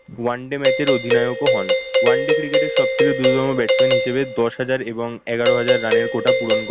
one day match এর অধিনায়ক ও হন। one day cricket এর সবথেকে দ্রুততম batsman হিসেবে দশ হাজার এবং এগারো হাজার run এর কোটা পূরণ